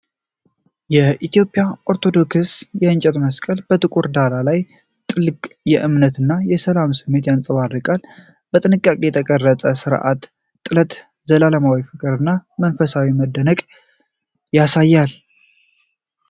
የኢትዮጵያ ኦርቶዶክስ የእንጨት መስቀል በጥቁር ዳራ ላይ ጥልቅ እምነት እና ሰላም ስሜትን ያንጸባርቃል። በጥንቃቄ የተቀረጸው ስርዓተ ጥለት ዘላለማዊ ፍቅርን እና መንፈሳዊ መደነቅን ያሳያል።